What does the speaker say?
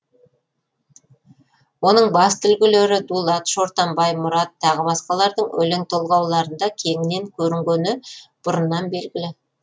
оның басты үлгілері дулат шортанбай мұрат тағы басқалардың өлең толғауларында кеңінен көрінгені бұрыннан белгілі